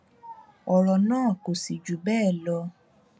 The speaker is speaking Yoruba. ọrọ náà kò sì jù bẹẹ lọ